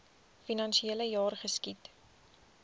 finansiele jaar geskied